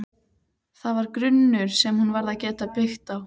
Það var grunnur sem hún varð að geta byggt á.